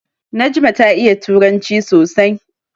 Najma ta iya turanci sosai.